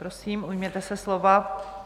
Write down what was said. Prosím, ujměte se slova.